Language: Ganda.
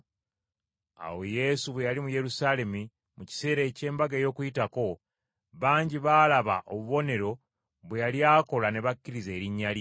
Awo Yesu bwe yali mu Yerusaalemi mu kiseera eky’Embaga ey’Okuyitako, bangi baalaba obubonero bwe yali akola ne bakkiriza erinnya lye.